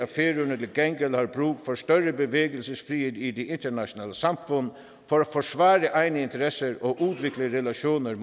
til gengæld har brug for større bevægelsesfrihed i det internationale samfund for at forsvare egne interesser og udvikle relationer med